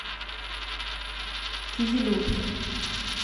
кизилюрт